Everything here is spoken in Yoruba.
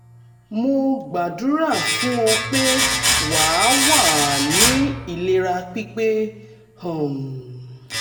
mo gbàdúrà fún ọ pé wà wà á ní ìlera pípé um